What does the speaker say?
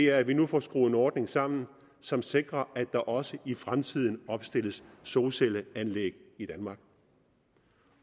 er at vi nu får skruet en ordning sammen som sikrer at der også i fremtiden opstilles solcelleanlæg i danmark